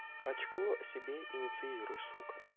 очко себе инициируй сука